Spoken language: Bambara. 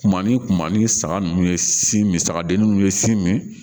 Tuma ni kuma ni saga ninnu ye si min sagadennin ninnu ye si min